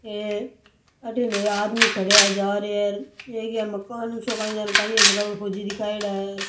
ये अठीने ये आदमी खडया है जा रे है और एक मकान सो काई है जके पर फौजी दिखायेड़ा है।